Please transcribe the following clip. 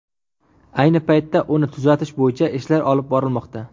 Ayni paytda uni tuzatish bo‘yicha ishlar olib borilmoqda.